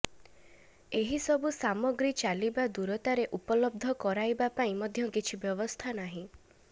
ଏହି ସବୁ ସାମଗ୍ରୀ ଚାଲିବା ଦୂରତାରେ ଉପଲବ୍ଧ କରାଇବା ପାଇଁ ମଧ୍ୟ କିଛି ବ୍ୟବସ୍ଥା ନାହିଁ